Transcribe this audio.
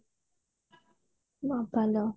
ବୋପାଲୋ